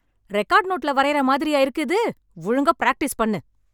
Record நோட்டுல வரையுற மாதிரியா இருக்கு இது? ஒழுங்கா பிராக்டீஸ் பண்ணு.